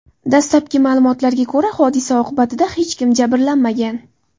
Dastlabki ma’lumotlarga ko‘ra, hodisa oqibatida hech kim jabrlanmagan.